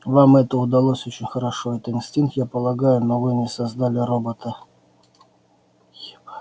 вам это удалось очень хорошо это инстинкт я полагаю но вы не создали робота